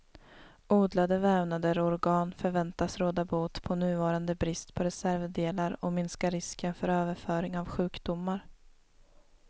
Odlade vävnader och organ förväntas råda bot på nuvarande brist på reservdelar och minska risken för överföring av sjukdomar.